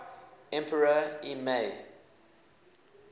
emperor y mei